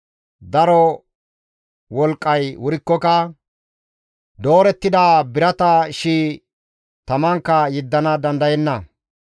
Daro wolqqay wurikkoka doorettida birata shi7i tamankka yeddana dandayenna.